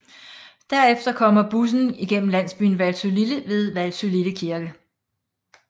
Derefter kommer bussen gennem landsbyen Valsølille med Valsølille Kirke